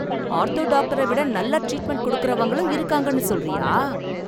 Ortho டாக்டர விட நல்லா ட்ரீட்மெண்ட் கொடுக்கறவங்களும் இருக்காங்கன்னு சொல்றியா?